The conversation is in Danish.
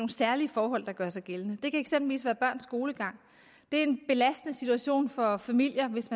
særlige forhold der gør sig gældende det kan eksempelvis være børns skolegang det er en belastende situation for familier hvis